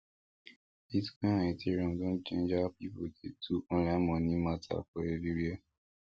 bitcoin and ethereum don change how people dey do online money matter for everywhere